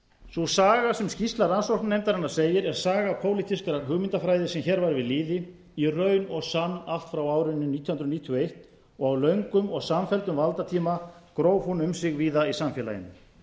sú saga sem skýrsla rannsóknarnefndarinnar segir er saga pólitískrar hugmyndafræði sem hér var við lýði í raun og sann allt frá árinu nítján hundruð níutíu og eins og á löngum og samfelldum valdatíma gróf hún um sig víða í samfélaginu